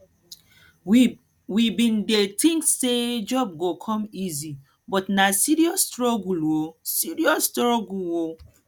we bin dey tink sey job go come easy but na serious struggle o serious struggle o